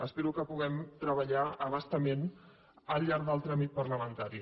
espero que hi puguem treballar a bastament al llarg del tràmit parlamentari